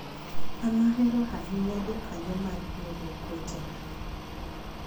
an ahero ahinya jokanyo mar riwruok wetena